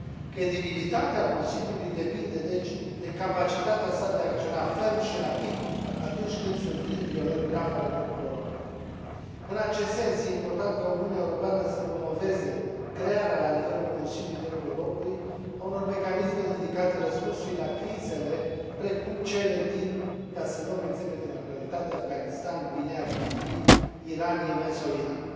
Credibilitatea Consiliului depinde deci de capacitatea sa de a acționa ferm și rapid atunci când survin violări grave ale drepturilor omului. În acest sens, este important ca Uniunea Europeană să promoveze crearea la nivelul Consiliului Drepturilor Omului a unor mecanisme dedicate răspunsului la crizele precum cele din, ca să luăm exemple din actualitate, Afganistan, Guineea Conakry, Iran, Yemen sau Irak.